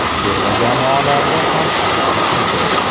Terma jamoalarda ham aynan shunday.